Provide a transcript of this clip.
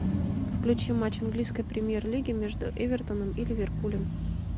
включи матч английской премьер лиги между эвертоном и ливерпулем